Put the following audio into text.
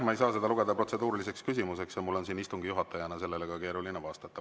Ma ei saa seda lugeda protseduuriliseks küsimuseks ja mul on siin istungi juhatajana sellele ka keeruline vastata.